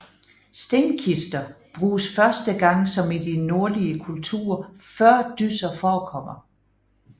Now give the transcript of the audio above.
Stenkister bruges første gang som i de nordlige kulturer før dysser forekommer